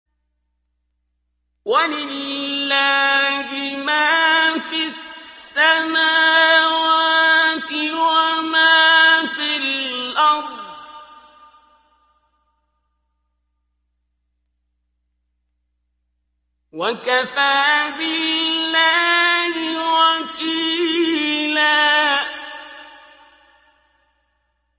وَلِلَّهِ مَا فِي السَّمَاوَاتِ وَمَا فِي الْأَرْضِ ۚ وَكَفَىٰ بِاللَّهِ وَكِيلًا